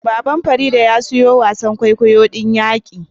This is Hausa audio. Baban farida ya siyo wasan kwaikwayon kwaikwayo din yaqi